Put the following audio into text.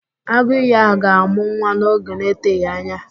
Agụìyì ahụ ga-amụ nwa n'oge na-eteghị anya